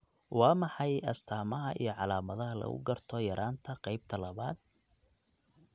Waa maxay astamaha iyo calaamadaha lagu garto yaraanta qaybta labaad?